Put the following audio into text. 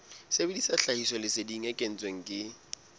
sebedisa tlhahisoleseding e kentsweng ke